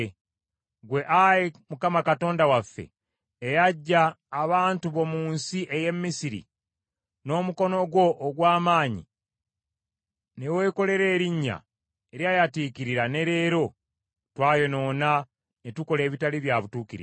“Ggwe, Ayi Mukama Katonda waffe eyaggya abantu bo mu nsi ey’e Misiri n’omukono gwo ogw’amaanyi ne weekolera erinnya, eryayatiikirira ne leero, twayonoona ne tukola ebitali bya butuukirivu.